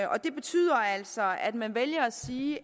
det betyder altså at man vælger at sige i